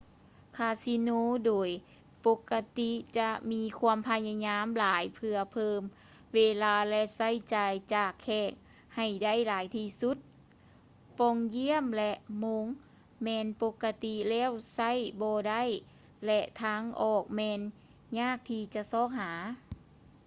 ຄາສິໂນໂດຍປົກກະຕິຈະມີຄວາມພະຍາຍາມຫຼາຍເພື່ອເພີ່ມເວລາ ແລະ ໃຊ້ຈ່າຍຈາກແຂກໃຫ້ໄດ້ຫຼາຍທີ່ສຸດ ປ່ອງຢ້ຽມ ແລະ ໂມງແມ່ນປົກກະຕິແລ້ວໃຊ້ບໍ່ໄດ້ ແລະ ທາງອອກແມ່ນຍາກທີ່ຈະຊອກຫາ